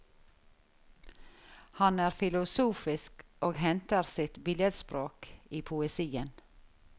Han er filosofisk og henter ofte sitt billedspråk i poesien.